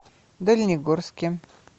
дальнегорске